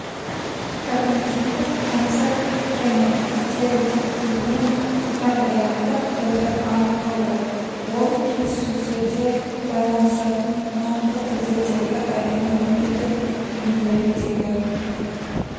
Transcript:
когнитивтік концепт және стереотиптелген жағдаяттық бірлік анықталды ол келіссөздерде байланысатын нақты тілдердегі әлемнің тілдік бейнелеріндегі